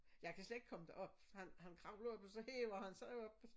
Jeg kan slet ikke komme derop han han kravler jo så hæver han sig op